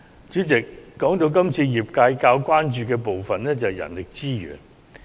主席，說到今次工商界較為關注的部分，當然是人力資源。